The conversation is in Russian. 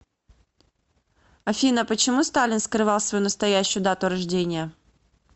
афина почему сталин скрывал свою настоящую дату рождения